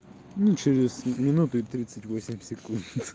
ну через минуту и тридцать восемь секунд